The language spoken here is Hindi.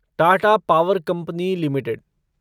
Tata power company limited